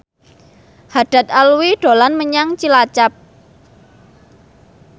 Haddad Alwi dolan menyang Cilacap